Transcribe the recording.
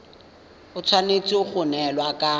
e tshwanetse go neelana ka